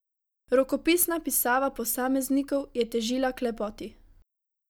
Rokopisna pisava posameznikov je težila k lepoti.